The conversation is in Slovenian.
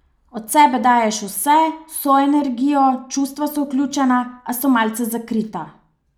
Od sebe daješ vse, svojo energijo, čustva so vključena, a so malce zakrita.